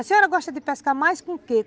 A senhora gosta de pescar mais com o quê?